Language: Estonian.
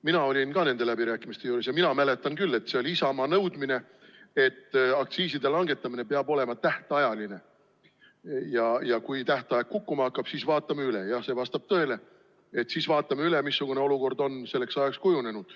Mina olin ka nende läbirääkimiste juures ja mina mäletan küll, et see oli Isamaa nõudmine, et aktsiiside langetamine peab olema tähtajaline ja kui tähtaeg kukkuma hakkab, siis vaatame üle – nii et see vastab tõele, et siis vaatame üle –, missugune olukord on selleks ajaks kujunenud.